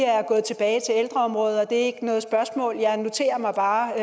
er gået tilbage til ældreområdet det er ikke noget spørgsmål jeg noterer mig bare